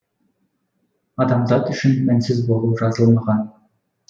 адамзат үшін мінсіз болу жазылмаған